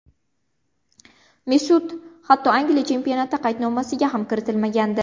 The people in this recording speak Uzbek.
Mesut hatto Angliya chempionati qaydnomasiga ham kiritilmagandi.